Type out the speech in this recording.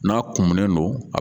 N'a kumunen don a